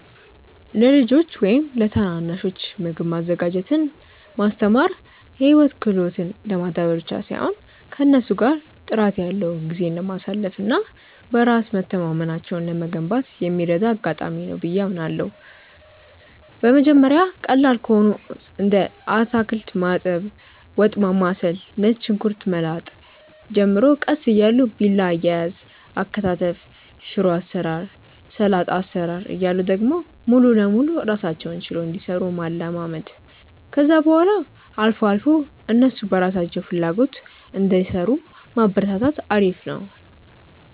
ለልጆች ወይም ለታናናሾች ምግብ ማዘጋጀትን ማስተማር የህይወት ክህሎትን ለማዳበር ብቻ ሳይሆን ከእነሱ ጋር ጥራት ያለው ጊዜ ለማሳለፍ እና በራስ መተማመናቸውን ለመገንባት የሚረዳ አጋጣሚ ነው ብዬ አምናለሁ። በመጀመሪያ ቀላል ከሆኑት እንደ አታክልት ማጠብ፣ ወጥ ማማሰል፣ ነጭ ሽንኩርት መላጥ ጀምረው ቀስ እያሉ ቢላ አያያዝ፣ አከታተፍ፣ ሽሮ አሰራር፣ ሰላጣ አሰራር እያሉ ደግሞ ሙሉ ለሙሉ ራሳቸውን ችለው እንዲሰሩ ማለማመድ፣ ከዛ በኋላ አልፎ አልፎ እነሱ በራሳቸው ፍላጎት እንዲሰሩ ማበረታታት አሪፍ ነው።